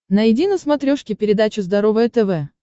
найди на смотрешке передачу здоровое тв